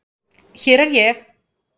Hér er ég!!